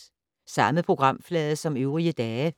Samme programflade som øvrige dage